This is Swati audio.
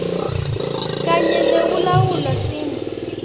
kanye nekulawula timo